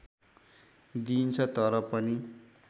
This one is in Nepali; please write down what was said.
दिइन्छ तर पनि